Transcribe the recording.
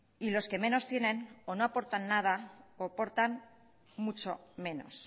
y los que menos tienen o no aportan nada o aportan mucho menos